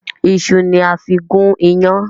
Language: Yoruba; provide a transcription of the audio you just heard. Ìṣu ni a fí gún yán.